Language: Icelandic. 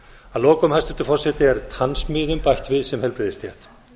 að lokum hæstvirtur forseti er tannsmiðum bætt við sem heilbrigðisstétt